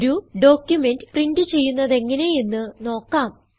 ഒരു document print ചെയ്യുന്നതെങ്ങനെ എന്ന് നോക്കാം